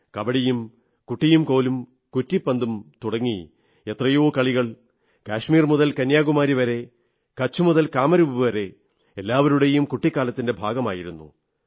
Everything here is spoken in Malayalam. കബഡിയും കുട്ടിയും കോലും കുറ്റിപ്പന്തും തുടങ്ങി എത്രയോ കളികൾ കശ്മീർ മുതൽ കന്യാകുമാരി വരെ കച്ച് മുതൽ കാമരൂപ് വരെ എല്ലാവരുടെയും കുട്ടിക്കാലത്തിന്റെ ഭാഗമായിരുന്നു